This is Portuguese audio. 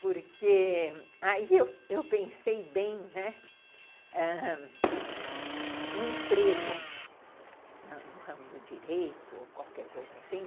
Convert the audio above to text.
Porque aí eu pensei bem, né, ãh... um emprego no ramo do direito, ou qualquer coisa assim,